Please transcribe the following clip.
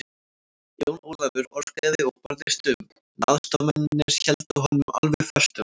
Jón Ólafur orgaði og barðist um, en aðstoðarmennirnir héldu honum alveg föstum.